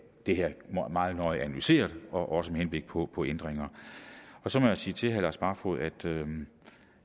det her meget nøje analyseret også med henblik på på ændringer så må jeg sige til herre lars barfoed at